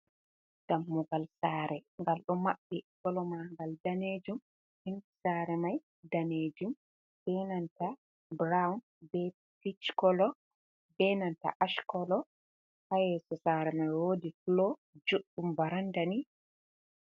Dammugal sare ngal ɗo maɓɓii kolomagal danejum, penti sare mai danejum, benanta burown be pickolo, benanta ashkolo, hayeso sare mai wodi fulo joɗɗum barandani.